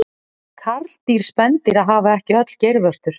karldýr spendýra hafa ekki öll geirvörtur